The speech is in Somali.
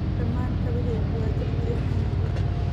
Dhammaan kabahayga waa jeexjeexan yihiin